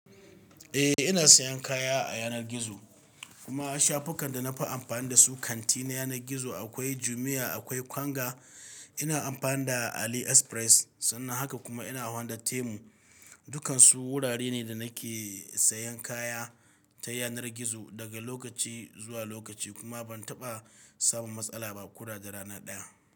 Eh ina sayan kaya a yanar gizo kuma shafukan da na fi amfani dasu kanti na yanar gizo akwai Jumia, akwai Konga, ina amfani da Ali Express sannan haka kuma ina amfani da Temu. Dukansu wurare ne da nake sayan kaya ta yanar gizo daga lokaci zuwa lokaci kuma ban taɓa samun matsala ba koda da rana ɗaya.